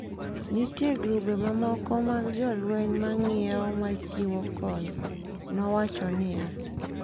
“Nitie grube mamoko mag jolweny ma ng’iewo ma chiwo kony,” nowacho niya.